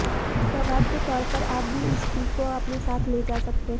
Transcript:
सौगात के तौर पर आप भी इस टी को अपने साथ ले जा सकते हैं